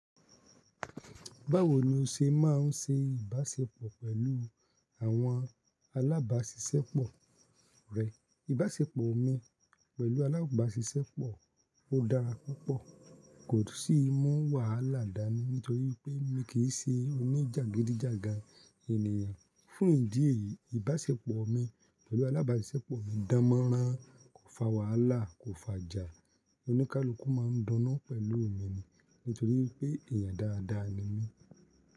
Báwo ni o ṣe máa ń ṣe ìbáṣepọ̀ pẹ̀lú àwọn alábáṣiṣẹ́pọ̀ rẹ? Ìbáṣepọ̀ mi pẹ̀lú alábáṣiṣẹ́pọ̀ o dára púpọ̀, kò sí mú wàhálà dá ni nítorí pé mi kì í ṣe oníjàgídíjàgan ènìyàn. Fún ìdí èyí, ìbáṣepọ̀ mi pẹ̀lú alábáṣiṣẹ́pọ̀ mi dánmọ́nrán, kò fa wàhálà, kò fa jà. Oníkálukú máa ń dáná pẹ̀lú mi nítorí pé èèyàn dáadáa ni mí.